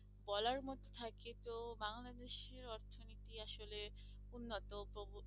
বলার মতো থাকে তো বাংলাদেশের অর্থনীতি আসলে উন্নত